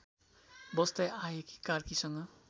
बस्दै आएकी कार्कीसँग